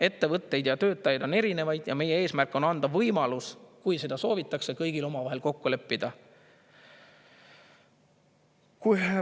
Ettevõtteid ja töötajaid on erinevaid ja meie eesmärk on anda võimalus, kui seda soovitakse, kõigil omavahel kokku leppida.